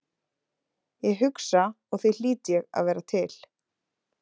Ég hugsa og því hlýt ég að vera til.